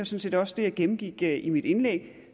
set også det jeg gennemgik i mit indlæg